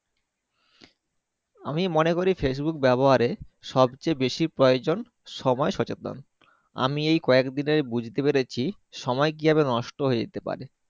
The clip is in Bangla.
আমি মনে করি Facebook ব্যাবহারে সব চেয়ে বেশি প্রয়োজন সময় সচেতন আমি এই কয়েক দিনে বুঝতে পেরেছি সময় কিভাবে নষ্ট হয়ে যেতে পারে।